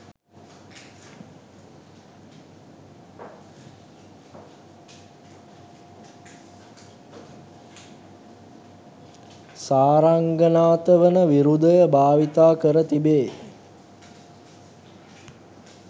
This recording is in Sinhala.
සාරංගනාථ වන විරුදය භාවිත කර තිබේ.